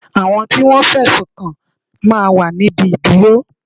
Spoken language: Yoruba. Àwọn tí Wọ́n fẹ̀sùn kàn máa ń wà ní ibi ìdúró.